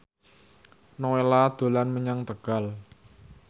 Nowela dolan menyang Tegal